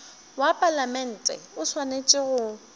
wa palamente o swanetše go